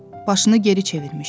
Başını geri çevirmişdi.